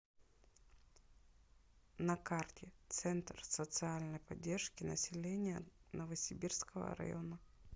на карте центр социальной поддержки населения новосибирского района